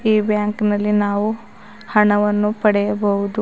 ಈ ಬ್ಯಾಂಕ್ ನಲ್ಲಿ ನಾವು ಹಣವನ್ನು ಪಡೆಯಬಹುದು.